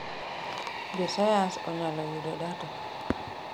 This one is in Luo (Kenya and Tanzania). josayansi onyalo yudo data